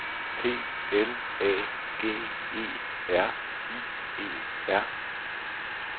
P L A G E R I E R